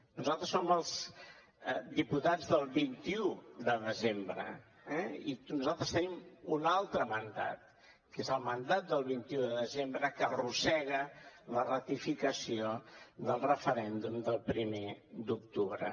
nosaltres som els diputats del vint un de desembre eh i nosaltres tenim un altre mandat que és el mandat del vint un de desembre que arrossega la ratificació del referèndum del primer d’octubre